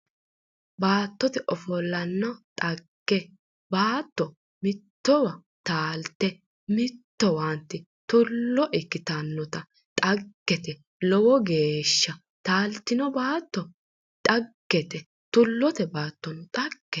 Baattote ofollonna dhagge baatto mitto taalitte mittowanti tullo ikitannotta dhagete lowo geeshsha taalitinno baatto dhaggete tulluonno dhaggete